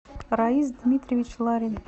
раис дмитриевич ларин